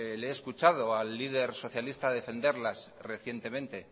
le he escuchado al líder socialistas defenderlas recientemente